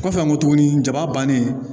Kɔfɛ n ko tuguni jaba bannen